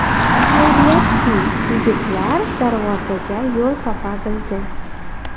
Xayriyatki, yigitlar darvozaga yo‘l topa bildi.